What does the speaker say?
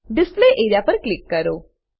display A R E A પર click કરો